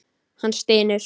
Hann stynur.